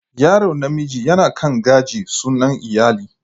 Yaro namiji ya kan gaji sunan iyali.